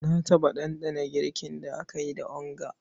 Na taɓa ɗanɗana girkin da aka yi da onga.